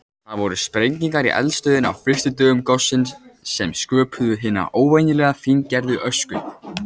Það voru sprengingar í eldstöðinni á fyrstu dögum gossins sem sköpuðu hina óvenjulega fíngerðu ösku.